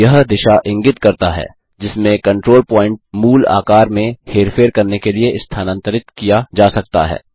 यह दिशा इंगित करता है जिसमें कंट्रोल पॉइन्ट मूल आकार में हेरफेर करने के लिए स्थानांतरित किया जा सकता है